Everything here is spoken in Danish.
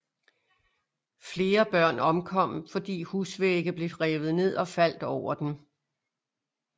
Flere børn omkom fordi husvægge blev revet ned og faldt over dem